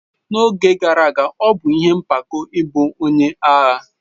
N'oge gara aga, ọ bụ ihe mpako ịbụ onye agha.